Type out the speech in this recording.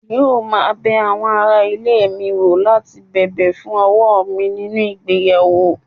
yóò máa bẹ àwọn ará ilé mi wò láti bẹ̀bẹ̀ fún ọwọ́ mi nínú ìgbéyàwó